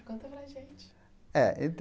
Conta para a gente. É